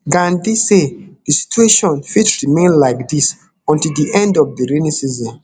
gandi say di situation fit remain like dis until di end of di rainy season